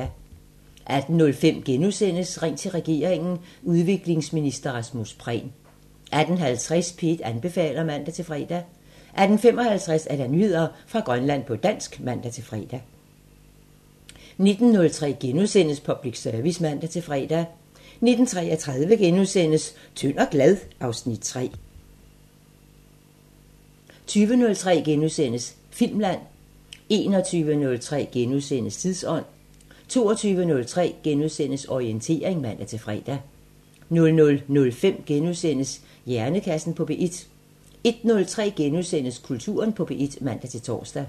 18:05: Ring til regeringen: Udviklingsminister Rasmus Prehn * 18:50: P1 anbefaler (man-fre) 18:55: Nyheder fra Grønland på dansk (man-fre) 19:03: Public Service *(man-fre) 19:33: Tynd og glad? (Afs. 3)* 20:03: Filmland * 21:03: Tidsånd * 22:03: Orientering *(man-fre) 00:05: Hjernekassen på P1 * 01:03: Kulturen på P1 *(man-tor)